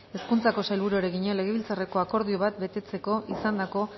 hezkuntzako sailburuari egina legebiltzarreko akordio bat betetzeko izandako